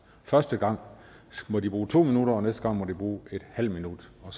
første gang må de bruge to minutter og næste gang må de bruge en halv minut og